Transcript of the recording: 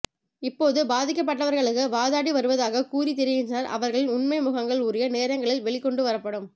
இப்போது பதிக்கப்படவர்களுக்கு வாதாடி வருவதாக கூறி திரிகின்றார் அவர்களின் உண்மை முகங்கள் உரிய நேரங்களில் வெளிக் கொண்டு வரப்படும்